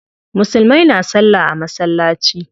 Musulmai na salla a masallaci.